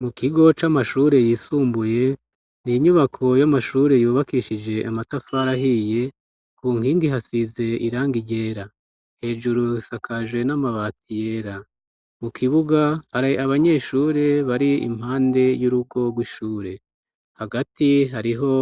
mu kigo c'amashure yisumbuye n'inyubako y'amashure yubakishije amatafara ahiye ku nkingi ihasize irangi ryera hejuru isakaje n'amabati yera mu kibuga ari abanyeshure bari impande y'urugo rw'ishure hagati hariho